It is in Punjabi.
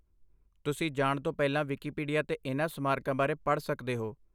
ਤੁਸੀਂ ਜਾਣ ਤੋਂ ਪਹਿਲਾਂ ਵਿਕੀਪੀਡੀਆ 'ਤੇ ਇਹਨਾਂ ਸਮਾਰਕਾਂ ਬਾਰੇ ਪੜ੍ਹ ਸਕਦੇ ਹੋ।